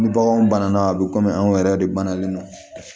Ni baganw banana a be kɔmi anw yɛrɛ de ban nalen nɔ